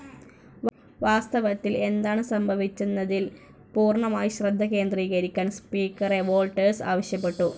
വാസ്തവത്തിൽ എന്താണ് സംഭവിച്ചതെന്നതിൽ പൂർണ്ണമായി ശ്രദ്ധ കേന്ദ്രീകരിക്കാൻ സ്പീക്കറെ വോൾട്ടേഴ്സ് ആവശ്യപ്പെട്ടു.